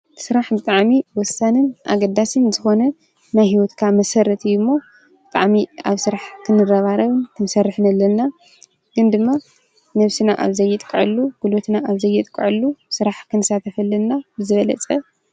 ስራሕ ብጣዕሚ ወሳንን ኣገዳስን ዝኾነ ናይ ሂወትካ መሰረትን እዩ እሞ ብጣዕሚ ኣብ ስራሕ ክንረባረብን ክንሰርሕን ኣለና። ግን ድማ ነብስና ኣብ ዘይጥቀዐሉ ጉልበትና ኣብ ዘይጥቀዐሉ ክንሳተፍ ኣለና ብዝበለፀ።